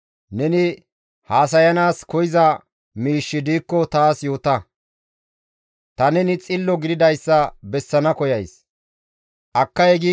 Neni haasayanaas koyza miishshi diikko taas yoota, ta neni xillo gididayssa nena bessana koyays.